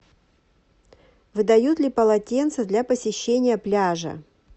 выдают ли полотенца для посещения пляжа